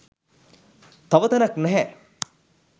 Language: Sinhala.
තව තැනක් නැහැ.